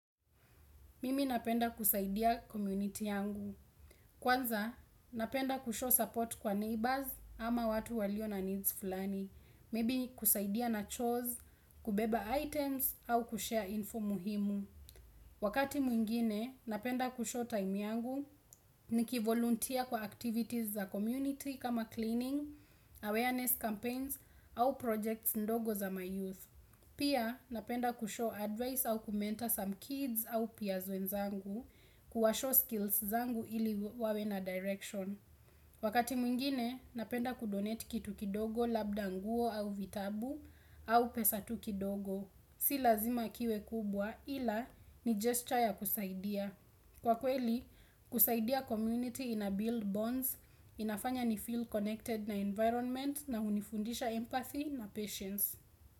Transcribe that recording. Mimi napenda kusaidia community yangu. Kwanza, napenda kushow support kwa neighbors ama watu walio na needs fulani. Maybe kusaidia na chores, kubeba items, au kushare info muhimu. Wakati mwingine, napenda kushow time yangu. Niki volunteer kwa activities za community kama cleaning, awareness campaigns, au projects ndogo za ma youth. Pia napenda kushow advice au kumental some kids au pia wenzangu kuwashow skills zangu ili wawena direction. Wakati mwingine napenda kudonete kitu kidogo labda nguo au vitabu au pesa tuki dogo. Si lazima kiwe kubwa ila ni gesture ya kusaidia. Kwa kweli kusaidia community ina build bonds inafanya ni feel connected na environment na unifundisha empathy na patience.